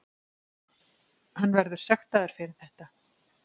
Hann verður sektaður fyrir þetta.